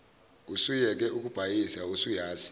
usuyeke ukubhayiza usuyazi